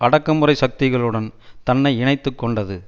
அடக்குமுறை சக்திகளுடன் தன்னை இணைத்து கொண்டது